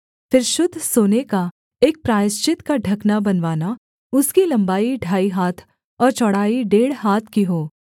फिर शुद्ध सोने का एक प्रायश्चित का ढकना बनवाना उसकी लम्बाई ढाई हाथ और चौड़ाई डेढ़ हाथ की हो